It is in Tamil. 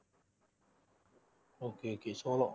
okay okay சோளம்